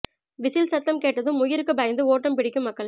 whistle சத்தம் கேட்டதும் உயிருக்கு பயந்து ஓட்டம் பிடிக்கும் மக்கள்